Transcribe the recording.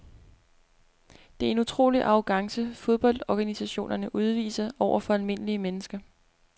Det er en utrolig arrogance fodboldorganisationerne udviser over for almindelige mennesker.